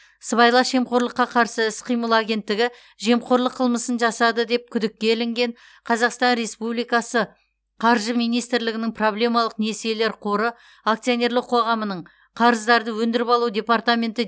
сыбайлас жемқорлыққа қарсы іс қимыл агенттігі жемқорлық қылмысын жасады деп күдікке ілінген қазақстан республикасы қаржы министрлігінің проблемалық несиелер қоры акционерлік қоғамының қарыздарды өндіріп алу департаменті